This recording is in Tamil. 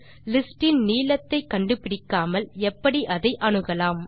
லிஸ்ட் இன் நீளத்தை கண்டுபிடிக்காமல் எப்படி அதை அணுகலாம்